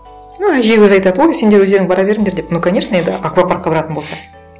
ну әже өзі айтады ой сендер өздерің бара беріңдер деп ну конечно енді аквапаркқа баратын болса